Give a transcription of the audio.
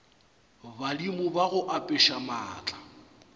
badimo ba go apeša maatla